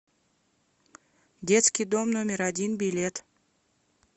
детский дом номер один билет